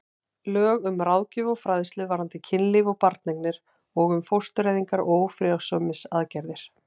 Lög um ráðgjöf og fræðslu varðandi kynlíf og barneignir og um fóstureyðingar og ófrjósemisaðgerðir.